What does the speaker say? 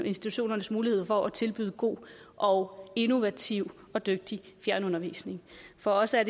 institutionernes muligheder for at tilbyde god og innovativ og dygtig fjernundervisning for os er